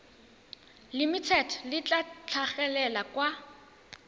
limited le tla tlhagelela kwa